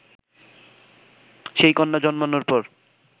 সেই কন্যা জন্মানোর পর